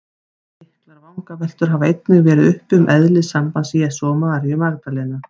Miklar vangaveltur hafa einnig verið uppi um eðli sambands Jesú og Maríu Magdalenu.